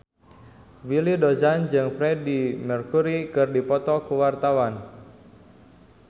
Willy Dozan jeung Freedie Mercury keur dipoto ku wartawan